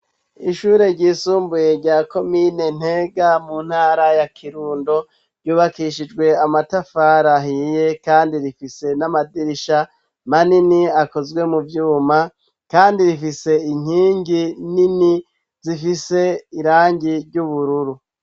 Ishure ryisumbuye rya Komine Ntega mu ntara ya Kirundo, ryubakishijwe amatafari ahiye kandi rifise n'amadirisha manini akozwe mu vyuma, kandi rifise inkingi nini zifise irangi ry'ubururu.